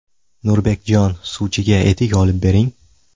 Nurbekjon, suvchiga etik olib bering.